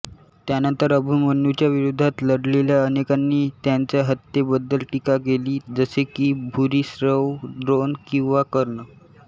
त्यानंतर अभिमन्यूच्या विरोधात लढलेल्या अनेकांनी त्यांच्या हत्येबद्दल टीका केली जसे की भूरिश्रव द्रोण किंवा कर्ण